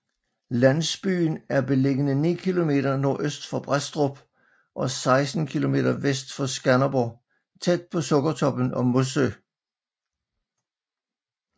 Landsbyen er beliggende 9 km nordøst for Brædstrup og 16 km vest for Skanderborg tæt på Sukkertoppen og Mossø